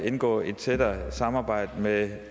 indgå i et tættere samarbejde med